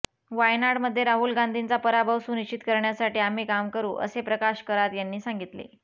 वायनाडमध्ये राहुल गांधींचा पराभव सुनिश्चित करण्यासाठी आम्ही काम करू असे प्रकाश करात यांनी सांगितले